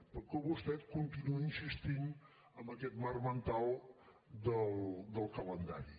perquè vostè continua insistint en aquest marc mental del calendari